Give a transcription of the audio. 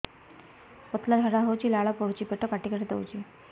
ପତଳା ଝାଡା ହଉଛି ଲାଳ ପଡୁଛି ପେଟ କାଟି କାଟି ଦଉଚି